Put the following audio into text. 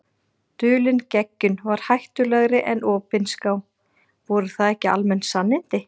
Dulin geggjun var hættulegri en opinská- voru það ekki almenn sannindi?